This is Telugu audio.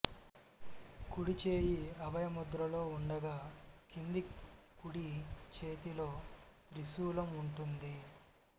కుడిచేయి అభయముద్రలో ఉండగా కింది కుడి చేతిలో త్రిశూలం ఉంటుంది